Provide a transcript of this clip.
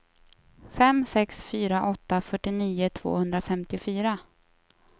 fem sex fyra åtta fyrtionio tvåhundrafemtiofyra